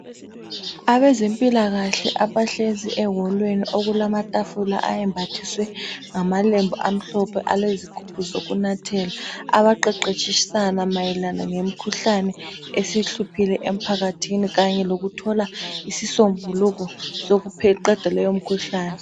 Abezempilakahle abahlezi eholweni okulamathafula ayembathiswe ngamalembu amhlophe alezigubhu zokunathela. Abaqeqetshisana mayelana ngemikhuhlane esihluphile emphakathini Kanye lokuthola isisombululo sokuqeda leyo mikhuhlane.